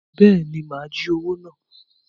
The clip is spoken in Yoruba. Bẹẹni, má jí owo náà